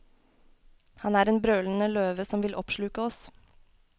Han er en brølende løve som vil oppsluke oss.